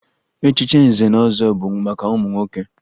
Echichi nze na ọzọ bụ maka ụmụ nwoke